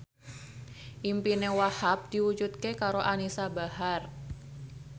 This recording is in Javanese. impine Wahhab diwujudke karo Anisa Bahar